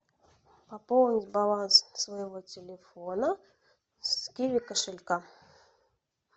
пополнить баланс своего телефона с киви кошелька